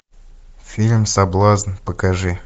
фильм соблазн покажи